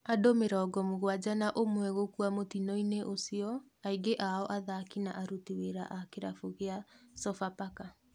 Andũ mĩrongo mũgwanja na ũmwe gũkua mũtino-inĩ ũcio, aingĩ ao athaki na aruti wĩra a kĩrabu gĩa Sofapaka.